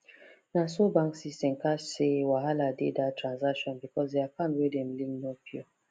na so bank system catch say wahala dey that transaction because the account wey dem link no pure